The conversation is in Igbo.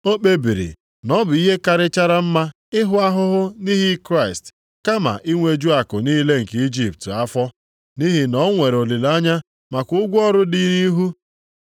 O kpebiri na ọ bụ ihe karịchara mma ịhụ ahụhụ nʼihi Kraịst, kama inweju akụ niile nke Ijipt afọ. Nʼihi na o nwere olileanya maka ụgwọ ọrụ dị nʼihu.